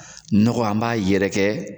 Nɔgɔ an b'a yɛrɛkɛ